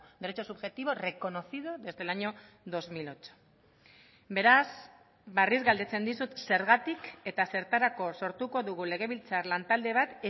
derecho subjetivo reconocido desde el año dos mil ocho beraz berriz galdetzen dizut zergatik eta zertarako sortuko dugu legebiltzar lantalde bat